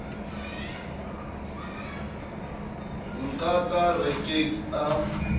nka ka re ke a